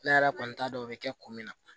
Ne yɛrɛ kɔni t'a dɔn o bɛ kɛ ko min na